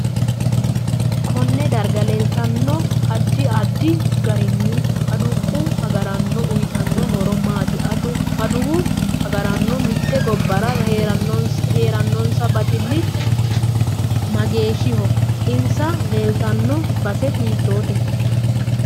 Konne darga leeltanno addi addi garinni aduqu agaraano uyiitanno horo maati aduwu agaraano mitte gobbara heerannose baxili mageeshiho insa leelatanno base hitoote